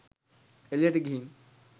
එළියට ගිහින්